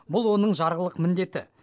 бұл оның жарғылық міндеті